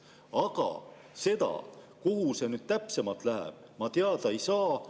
Aga seda, kuhu see raha täpsemalt läheb, ma teada ei saa.